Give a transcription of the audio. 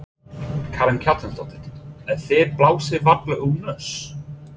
Karen Kjartansdóttir: En þið blásið varla úr nös?